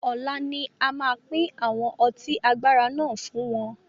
Ọlá ni a máa pín àwọn ọtí agbára náà fún wọn.